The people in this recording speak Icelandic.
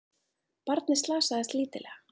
Barnið slasaðist lítillega